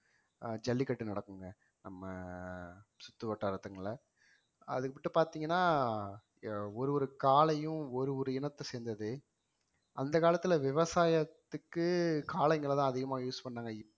அஹ் ஜல்லிக்கட்டு நடக்குங்க நம்ம சுத்துவட்டாரத்துல அதுக்கிட்ட பார்த்தீங்கன்னா ஒரு ஒரு காளையும் ஒரு ஒரு இனத்தை சேர்ந்தது அந்த காலத்துல விவசாயத்துக்கு காளைங்கள தான் அதிகமா use பண்ணாங்க